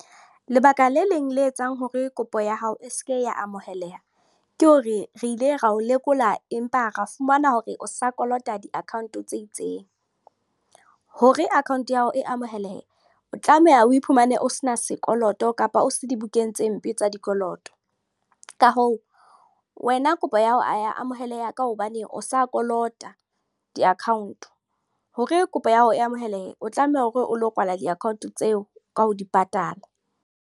Lebaka le leng le etsang hore kopo ya hao e seke ya amoheleha. Ke hore re ile ra o lekola, empa ra fumana hore o sa kolota di-account tse itseng. Hore account ya hao e amohelehe. O tlameha o iphumane o se na sekoloto kapa o se dibukeng tse mpe tsa dikoloto. Ka hoo wena kopo ya hao ha ya amoheleha ka hobaneng o sa kolota di-account. Hore kopo ya hao e amohele, o tlameha hore o lo kwala di-account tseo ka ho di patala.